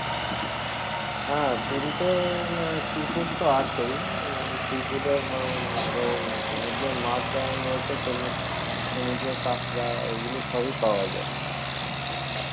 হ্যাঁ পুরীতে আহ seafood তো আছেই আহ seafood এর আহ আহ সমুদ্রের মাছ যেমন রয়েছে তেমনি সমুদ্রের কাকড়া এইগুলো সবই পাওয়া যাই